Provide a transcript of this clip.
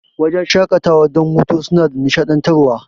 Wajan shaƙatawan don hutu suna da nishaɗantar wa